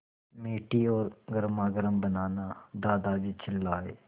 मीठी और गर्मागर्म बनाना दादाजी चिल्लाए